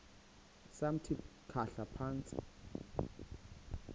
samthi khahla phantsi